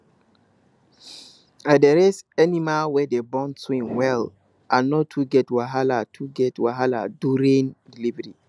i dey raise animal wey dey born twin well and no too get wahala too get wahala during delivery